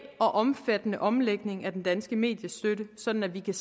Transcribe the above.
og omfattende omlægning af den danske mediestøtte sådan at vi kan